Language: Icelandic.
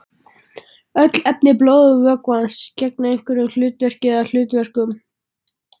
Öll efni blóðvökvans gegna einhverju hlutverki eða hlutverkum.